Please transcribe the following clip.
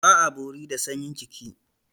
Ba a bori da sanyin jiki.